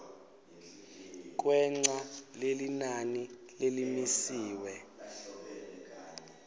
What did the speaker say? kwengca lelinani lelimisiwe